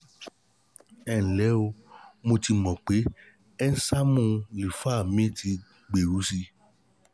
ẹ ǹ lé o mo ti mọ̀ pé ẹ́ńsáìmù lífà mi ti gbèrú sí i